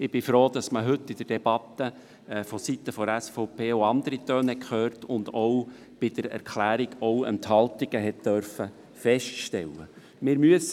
Ich bin froh, dass man heute in der Debatte von Seiten der SVP auch andere Töne gehört hat und bei der Erklärung auch Enthaltungen feststellen durfte.